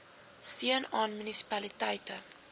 steun aan munisipaliteite